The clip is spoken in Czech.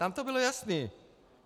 Tam to bylo jasné.